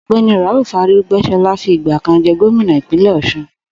Ò̩gbé̩ni Rauf Aré̩gbé̩s̩o̩lá fi ìgbà jé̩ gómìnà Ìpínlè̩ Ò̩s̩un